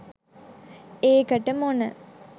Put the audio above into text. ඒකට මොන